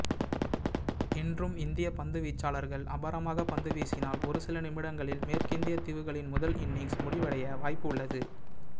இன்றும் இந்திய பந்துவீச்சாளர்கள் அபாரமாக பந்துவீசினால் ஒருசில நிமிடங்களில் மேற்கிந்திய தீவுகளின் முதல் இன்னிங்ஸ் முடிவடைய வாய்ப்பு உள்ளது